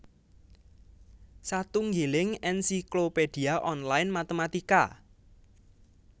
Satunggiling ensiklopédia online matématika